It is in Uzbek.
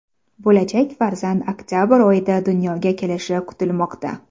Bo‘lajak farzand oktabr oyida dunyoga kelishi kutilmoqda.